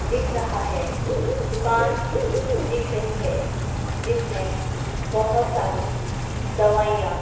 दिख रहा है दुकान दिख रही है जिसमें बहोत सारी दवाइयां--